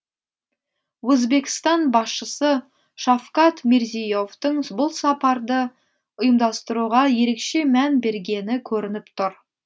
өзбекстан басшысы шавкат мирзие евтің бұл сапарды ұйымдастыруға ерекше мән бергені көрініп тұр